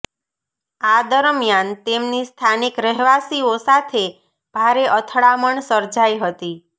આ દરમિયાન તેમની સ્થાનિક રહેવાસીઓ સાથે ભારે અથડામણ સર્જાઇ હતી